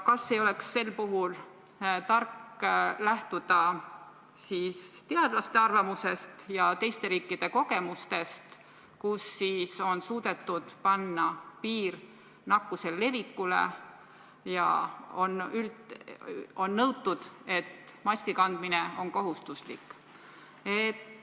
Kas ei oleks sel puhul tark lähtuda teadlaste arvamusest ja teiste riikide kogemustest, kus piir nakkuse levikule on suudetud panna sellega, et maski kandmine on tehtud kohustuslikuks?